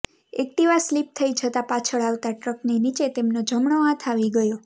Activa slip થઈ જતા પાછળ આવતા ટ્રક નીચે તેમનો જમણો હાથ આવી ગયો